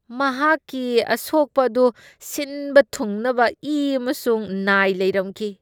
ꯃꯍꯥꯛꯀꯤ ꯑꯁꯣꯛꯄ ꯑꯗꯨ ꯁꯤꯟꯕ ꯊꯨꯡꯅꯕ ꯏ ꯑꯃꯁꯨꯡ ꯅꯥꯏ ꯂꯩꯔꯝꯈꯤ꯫